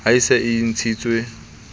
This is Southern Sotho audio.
ha e se e ntshitswe